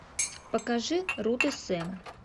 покажи рут и сэм